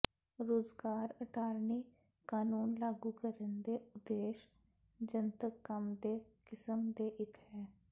ਰੁਜ਼ਗਾਰ ਅਟਾਰਨੀ ਕਾਨੂੰਨ ਲਾਗੂ ਕਰਨ ਦੇ ਉਦੇਸ਼ ਜਨਤਕ ਕੰਮ ਦੇ ਕਿਸਮ ਦੇ ਇੱਕ ਹੈ